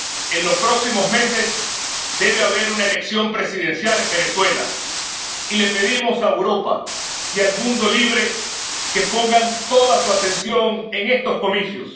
En los próximos meses debe haber una elección presidencial en Venezuela y le pedimos a Europa y al mundo libre que pongan toda su atención en estos comicios.